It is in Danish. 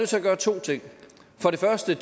til at gøre to ting for det første